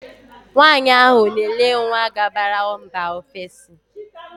Nwaanyị ahụ na ele nwa gabara mba ofesi.